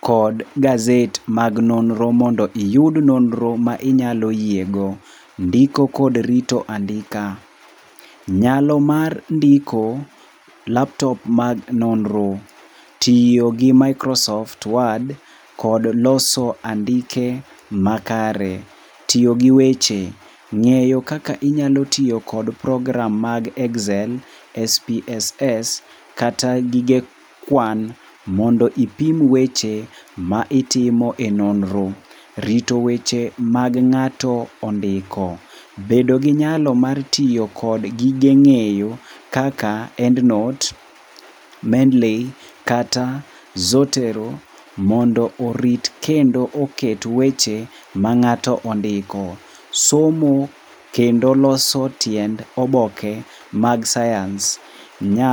kod gazet mag nonro, mondo iyud nonro ma inyalo yiego. Ndiko kod rito andika, nyalo mar ndiko. Laptop mag nonro, tiyo gi Microsoft Word kod loso andike makare. Tiyo gi weche- ngeyo kaka inyao tiyo kod program mag Excel, SPSS kata gige kwan mondo ipim weche ma itimo e nonro. Rito weche mag ngáto ondiko. Bedo gi nyalo mar tiyo kod gige ngéyo kaka Endnote. Mendley kata Zotero mondo orit, kendo oket weche ma ngáto ondiko. Somo kendo loso tiend oboke mag science.